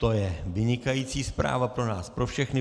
To je vynikající zpráva pro nás pro všechny.